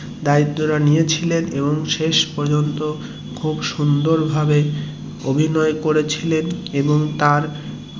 দায়িত্বটা নিয়েছিলেন এবং শেষ পর্যন্ত খুব সুন্দর ভাবে অভিনয় করেছিলেন এবং তার